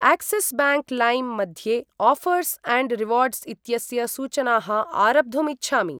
Axis bank LIME मध्ये offers and rewards इत्यस्य सूचनाः आरब्धुम् इच्छामि।